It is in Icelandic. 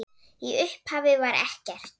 Í upphafi var ekkert.